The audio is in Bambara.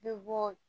Ne bɛ bɔ